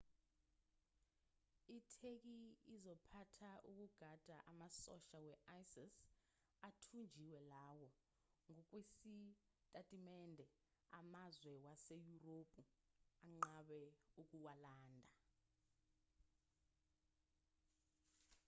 itheki izophatha ukugada amasosha we-isis athunjiwe lawo ngokwesitatimende amazwe waseyurophu anqabe ukuwalanda